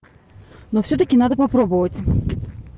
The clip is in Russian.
но всё-таки надо попробовать